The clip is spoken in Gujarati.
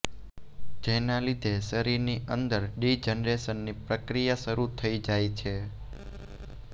જેના લીધે શરીરની અંદર ડી જનરેશનની પ્રક્રિયા શરૂ થઈ જાય છે